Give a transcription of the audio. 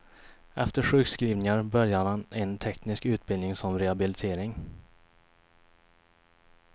Efter sjukskrivningar började han en teknisk utbildning som rehabilitering.